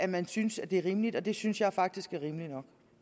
man synes at det er rimeligt og det synes jeg faktisk er rimeligt